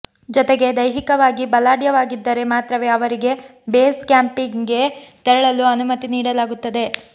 ಜೊತೆಗೆ ದೈಹಿಕವಾಗಿ ಬಲಾಡ್ಯವಾಗಿದ್ದರೆ ಮಾತ್ರವೇ ಅವರಿಗೆ ಬೇಸ್ ಕ್ಯಾಂಪಿಗೆ ತೆರಳಲು ಅನುಮತಿ ನೀಡಲಾಗುತ್ತದೆ